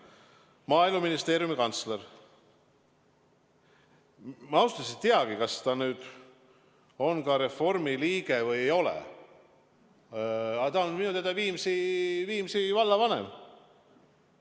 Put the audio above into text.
Maaeluministeeriumi kantsler – ma ausalt öeldes ei teagi, kas ta nüüd on Reformierakonna liige või ei ole, aga ta on minu teada Viimsi vallavanem.